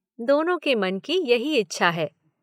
" दोनों के मन की यही इच्छा है।